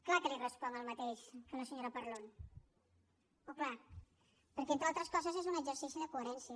clar que li responc el mateix que a la senyora parlon oh clar perquè entre altres coses és un exercici de coherència